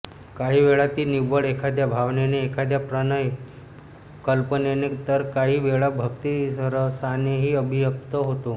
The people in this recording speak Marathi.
काही वेळा ती निव्वळ एखाद्या भावनेने एखाद्या प्रणय कल्पनेने तर काही वेळा भक्तिरसानेही अभिव्यक्त होतो